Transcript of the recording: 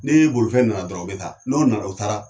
Ne bolifɛn nana dɔrɔn o bɛ taa n'o nana o taara